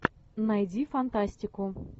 найди фантастику